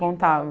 Contava.